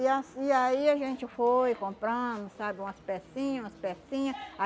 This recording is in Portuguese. E assi e aí a gente foi comprando, sabe, umas pecinha, umas pecinha